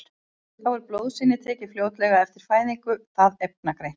Þá er blóðsýni tekið fljótlega eftir fæðingu það efnagreint.